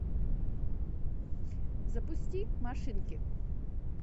запусти машинки